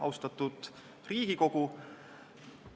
Austatud Riigikogu!